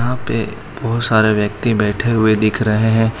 यहां पे बहोत सारे व्यक्ति बैठे हुए दिख रहे हैं।